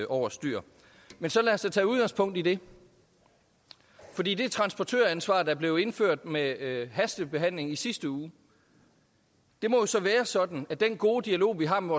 over styr men så lad os da tage udgangspunkt i det for det det transportøransvar der blev indført med hastebehandlingen i sidste uge må så være sådan at den gode dialog vi har med